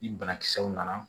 Ni banakisɛw nana